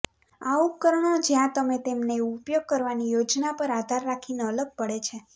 આ ઉપકરણો જ્યાં તમે તેમને ઉપયોગ કરવાની યોજના પર આધાર રાખીને અલગ પડે છે